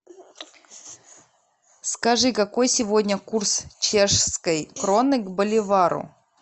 скажи какой сегодня курс чешской кроны к боливару